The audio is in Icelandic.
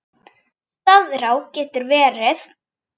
Staðará getur verið